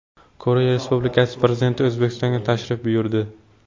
Koreya Respublikasi Prezidenti O‘zbekistonga tashrif buyurdi.